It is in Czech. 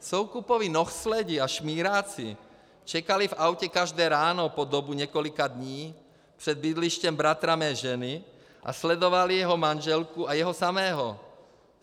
Soukupovi nohsledi a šmíráci čekali v autě každé ráno po dobu několika dní před bydlištěm bratra mé ženy a sledovali jeho manželku a jeho samého.